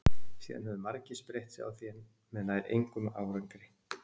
Síðan höfðu margir spreytt sig á því en með nær engum árangri.